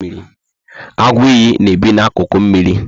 Agu iyi na ebi na akuku mmírí